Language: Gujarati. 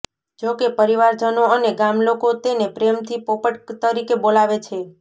જોકે પરિવારજનો અને ગામલોકો તેને પ્રેમથી પોપટ તરીકે બોલાવે છે